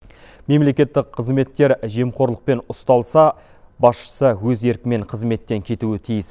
мемлекеттік қызметкер жемқорлықпен ұсталса басшысы өз еркімен қызметтен кетуі тиіс